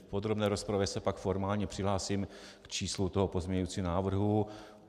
V podrobné rozpravě se pak formálně přihlásím k číslu toho pozměňujícího návrhu.